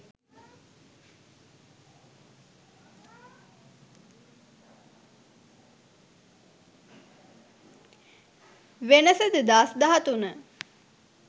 wenasa 2013